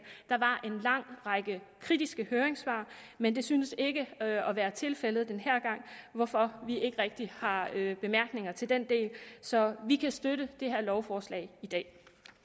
der var en lang række kritiske høringssvar men det synes ikke at være tilfældet denne gang hvorfor vi ikke rigtig har bemærkninger til den del så vi kan støtte det her lovforslag i dag